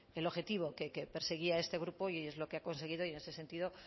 el objetivo que perseguía este grupo y es lo que ha conseguido y en ese sentido